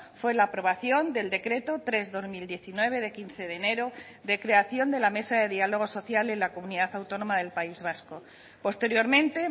fue la aprobación del decreto tres barra dos mil diecinueve de quince de enero de creación de la mesa de diálogo social en la comunidad autónoma del país vasco posteriormente